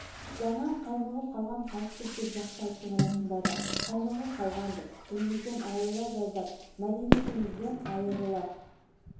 жаңа қаймығып қалған халықпыз деп жақсы айттың расында да қаймығып қалғанбыз тілімізден айырыла жаздап мәдениетімізден айырыла